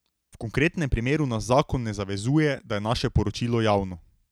V konkretnem primeru nas zakon ne zavezuje, da je naše poročilo javno.